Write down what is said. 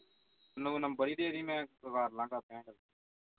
ਮੈਨੂੰ number ਹੀ ਦੇ ਦੀ ਮੈਂ ਕਰਲਾ